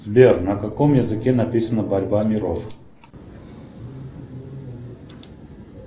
сбер на каком языке написана борьба миров